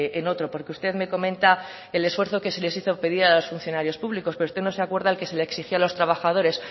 en otro porque usted me comenta el esfuerzo que se les hizo pedir a los funcionarios públicos pero usted no se acuerda el que se les exigió a los trabajadores